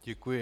Děkuji.